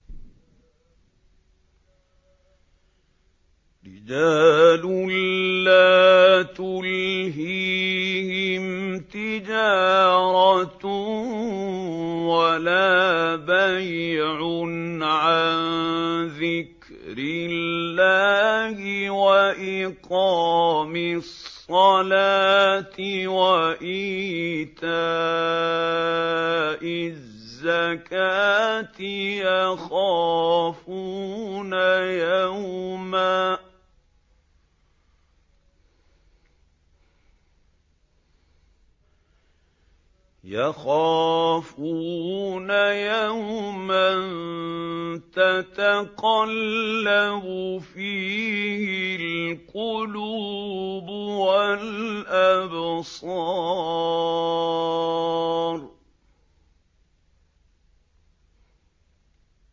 رِجَالٌ لَّا تُلْهِيهِمْ تِجَارَةٌ وَلَا بَيْعٌ عَن ذِكْرِ اللَّهِ وَإِقَامِ الصَّلَاةِ وَإِيتَاءِ الزَّكَاةِ ۙ يَخَافُونَ يَوْمًا تَتَقَلَّبُ فِيهِ الْقُلُوبُ وَالْأَبْصَارُ